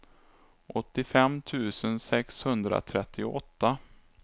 åttiofem tusen sexhundratrettioåtta